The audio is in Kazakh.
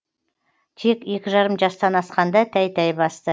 тек екі жарым жастан асқанда тәй тәй басты